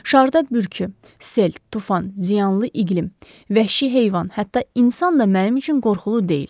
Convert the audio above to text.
Şarda bürküy, sel, tufan, ziyanlı iqlim, vəhşi heyvan, hətta insan da mənim üçün qorxulu deyil.